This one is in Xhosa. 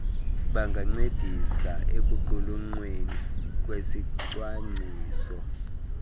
bangancedisa ekuqulunqweni kwesicwangciso